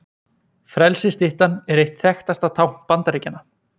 Frelsisstyttan er eitt þekktasta tákn Bandaríkjanna.